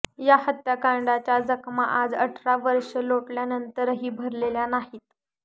या हत्याकांडाच्या जखमा आज अठरा वर्षे लोटल्यानंतरही भरलेल्या नाहीत